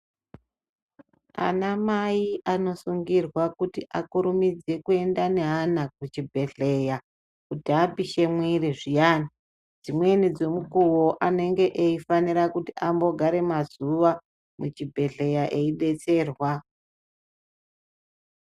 Anamai anosungirwa kuti akurumidze kuenda neana kuchibhedhlera kuti apishe mwiri zviyani. Dzimweni dzemukuwo anenge eifanira kuti ambogare mazuwa muchibhedhlera eidetserwa.